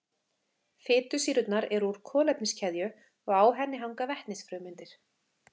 Fitusýrurnar eru úr kolefniskeðju og á henni hanga vetnisfrumeindir.